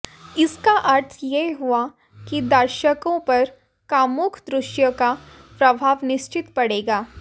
इसका अर्थ यह हुआ कि दर्शकोंपर कामुक दृश्योंका प्रभाव निश्चित पडेगा